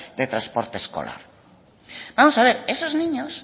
de transporte escolares vamos a ver esos niños